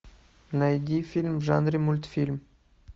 найди фильм в жанре мультфильм